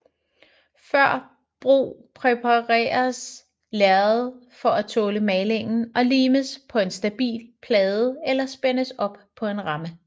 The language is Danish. Før brug præpareres lærredet for at tåle malingen og limes på en stabil plade eller spændes op på en ramme